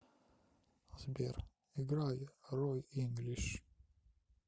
сбер играй рой инглиш